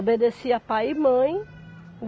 Obedecia pai e mãe.